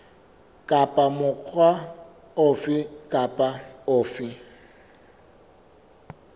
kapa mokga ofe kapa ofe